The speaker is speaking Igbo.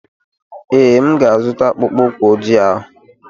Ee, M ga-azụta akpụkpọ ụkwụ ojii ahụ.